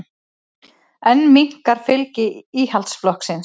Enn minnkar fylgi Íhaldsflokksins